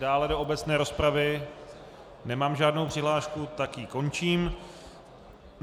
Dále do obecné rozpravy nemám žádnou přihlášku, tak ji končím.